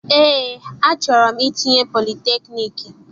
Eé, achọrọ m itinye politekniiki.